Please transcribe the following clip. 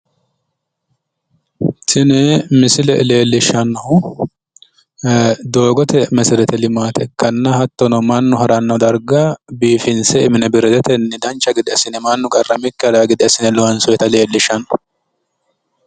tini misile leellishshannohu doogote meserete limaate ikkanna hattono mannu haranno darga biifinse mineberetetenni dancha gede assine mannu qarramikki haranno gede assine loonsoonnita leellishshanno.